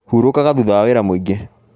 Hurũkaga thutha wa wĩra mũingi